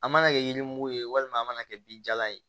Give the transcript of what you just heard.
A mana kɛ yiri mugu ye walima an mana kɛ binjalan ye